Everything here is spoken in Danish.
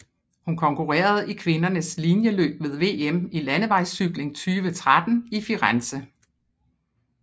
Hun konkurrerede i kvindernes linjeløb ved VM i landevejscykling 2013 i Firenze